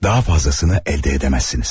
Daha fazlasını əldə edəməzsiniz.